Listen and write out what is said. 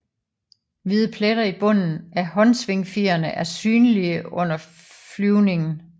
Hvide pletter i bunden af håndsvingfjerene er synlige under flyvningen